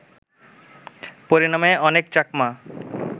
পরিণামে অনেক চাকমা